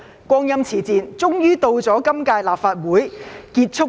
光陰似箭，終於到了今屆立法會完結的一刻。